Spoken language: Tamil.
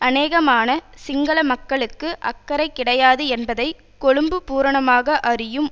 அநேகமான சிங்கள மக்களுக்கு அக்கறை கிடையாது என்பதை கொழும்பு பூரணமாக அறியும்